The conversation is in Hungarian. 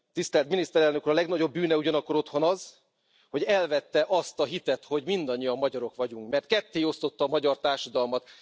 Tisztelt Miniszterelnök Úr! A legnagyobb bűne ugyanakkor otthon az, hogy elvette azt a hitet, hogy mindannyian magyarok vagyunk, mert kettéosztotta a magyar társadalmat.